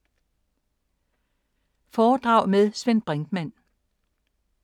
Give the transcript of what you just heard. Foredrag med Svend Brinkmann